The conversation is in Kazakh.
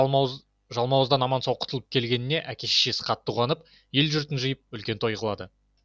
бала жалмауыздан аман сау құтылып келгеніне әке шешесі қатты қуанып ел жұртын жиып үлкен той қылады